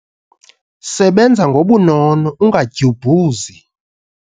Sebenza ngobunono ungadyubhuzi.